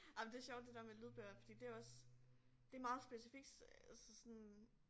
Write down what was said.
Ej men det sjovt det der med lydbøger fordi det også det meget specifikt øh altså sådan